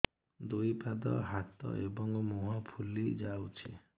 ଦୁଇ ପାଦ ହାତ ଏବଂ ମୁହଁ ଫୁଲି ଯାଉଛି